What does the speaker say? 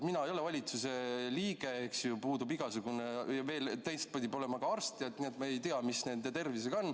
Mina ei ole valitsuse liige, eks ju, ja ma pole ka arst, nii et ma ei tea, mis nende tervisega on.